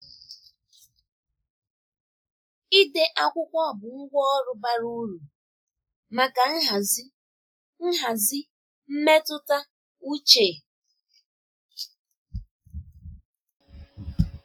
Ịde akwụkwọ bụ ngwá ọrụ bara uru maka nhazi nhazi mmetụta uche.